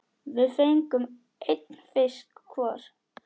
Við fengum einn fisk hvor.